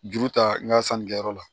Juru ta n ka sanni kɛyɔrɔ la